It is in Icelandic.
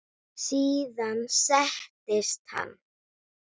Síðan settist hann.